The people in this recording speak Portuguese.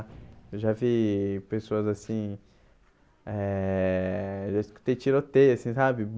Eu já vi pessoas assim... É... Eu já escutei tiroteio, assim, sabe?